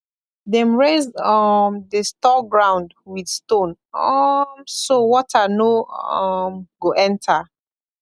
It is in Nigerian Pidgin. dem raise um the store ground with stone um so water no um go enter